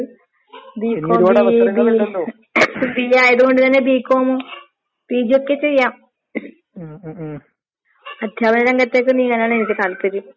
PG കഴിഞ്ഞിട്ട് ഏ ചെലവര് വർക്ക് ചെയ്യ്ന്ന്ണ്ട് ചെലവരിങ്ങനെ നോക്കിക്കൊണ്ട്ക്ക്ന്ന്ണ്ട്, ഒക്കെയിണ്ട്. അപ്പോ വിദ്യാഭ്യാസേന്നത് എല്ലാവർക്കും അത്യാവശ്യമായൊര് കാര്യവാണ്.